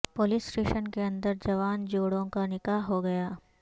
police station کے اندر جوان جوڑوں کا نکاح ہوگیا